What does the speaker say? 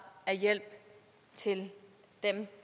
af hjælp til dem